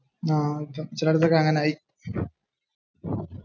ഹാ